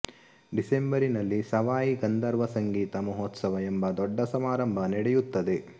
ಡಿಸೆಂಬರಿನಲ್ಲಿ ಸವಾಯಿ ಗಂಧರ್ವ ಸಂಗೀತ ಮಹೋತ್ಸವ ಎಂಬ ದೊಡ್ಡ ಸಮಾರಂಭ ನಡೆಯುತ್ತದೆ